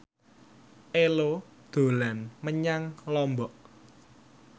Ello dolan menyang Lombok